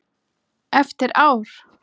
Eftir ár?